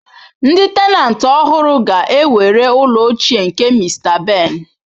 Ndi tenantị ọhụrụ ga-ewere ụlọ ochie nke Mr. Ben.